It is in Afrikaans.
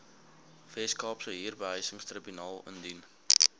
weskaapse huurbehuisingstribunaal indien